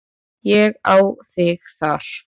Ég á þig þar.